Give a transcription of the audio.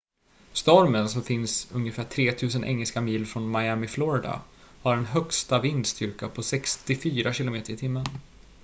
stormen som finns ungefär 3 000 engelska mil från miami florida har en högsta vindstyrka på 64 km/h